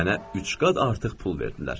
Mənə üç qat artıq pul verdilər.